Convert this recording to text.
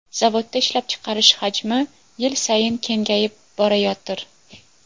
Zavodda ishlab chiqarish hajmi yil sayin kengayib borayotir.